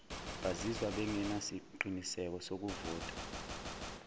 bazizwa bengenasiqiniseko sokuvota